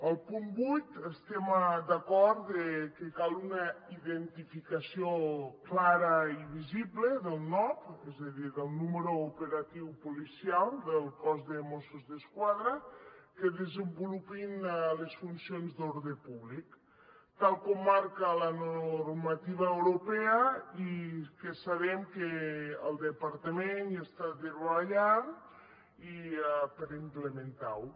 al punt vuit estem d’acord que cal una identificació clara i visible del nop és a dir del número operatiu policial del cos de mossos d’esquadra que desenvolupin les funcions d’ordre públic tal com marca la normativa europea i que sabem que el departament hi està treballant per implementar ho